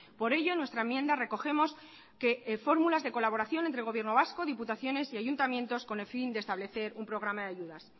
por ello en nuestra enmienda recogemos que fórmulas de colaboración entre gobierno vasco diputaciones y ayuntamientos con el fin de establecer un programa de ayudas